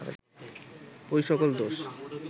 ঐ সকল দোষ